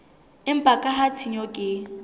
empa ka ha tshenyo ke